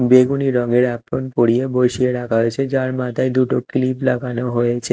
বেগুনী রঙের এপ্রন পরিয়ে বসিয়ে রাখা হয়েছে যার মাথায় দুটো ক্লিপ লাগানো হয়েছে।